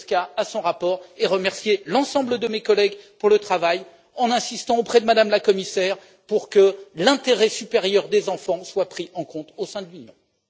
Zwiefka et à son rapport, et à remercier l'ensemble de mes collègues pour leur travail, en insistant auprès de Mme la Commissaire pour que l'intérêt supérieur des enfants soit pris en compte au sein de l'Union.